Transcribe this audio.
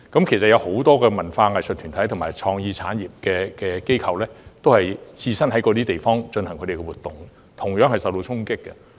其實，多個文化藝術團體和創意產業機構均在上述地方進行活動，他們亦同樣受到衝擊。